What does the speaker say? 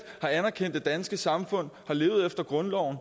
har anerkendt det danske samfund har levet efter grundloven